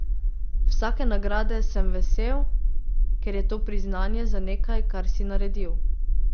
Vsake nagrade sem vesel, ker je to priznanje za nekaj, kar si naredil.